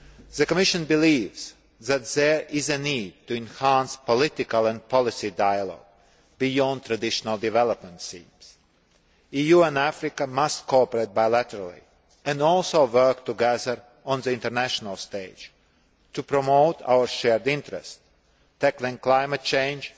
The Commission believes that there is a need to enhance political and policy dialogue beyond traditional development scenarios. The EU and Africa must cooperate bilaterally and also work together on the international stage to promote our shared interest tackling climate change,